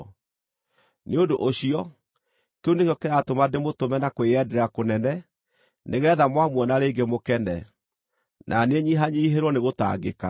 Nĩ ũndũ ũcio, kĩu nĩkĩo kĩratũma ndĩmũtũme na kwĩyendera kũnene, nĩgeetha mwamuona rĩngĩ mũkene, na niĩ nyihanyiihĩrwo nĩ gũtangĩka.